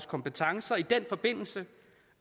kompetencer i den forbindelse